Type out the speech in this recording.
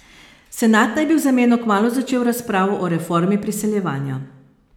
Senat naj bi v zameno kmalu začel razpravo o reformi priseljevanja.